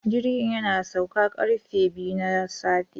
Jirgin ya sauka karfe biyu na safe